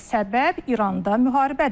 Səbəb İranda müharibədir.